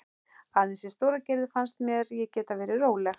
Aðeins í Stóragerði fannst mér ég geta verið róleg.